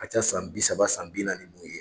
ka ca san bi saba san bi naani n'o ye.